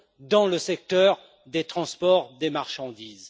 dans le secteur des transports de marchandises.